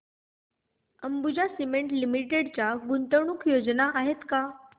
Ambuja cement limited च्या गुंतवणूक योजना आहेत का